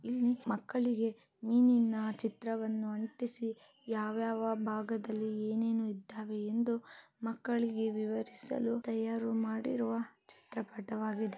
ಇಲ್ಲಿ ಮಕ್ಕಳಿಗೆ ಮೀನಿನ ಚಿತ್ರವನ್ನ ಅಂಟಿಸಿ ಯಾವ್ಯವ ಭಾಗದಲ್ಲಿ ಏನೇನು ಇದ್ದವೇ ಇಂದು ಮಕ್ಕಳಿಗೆ ವಿವರಿಸಲು ತಯಾರು ಮಾಡಿರುವ ಚಿತ್ರ ಪಠವಾಗಿದೆ .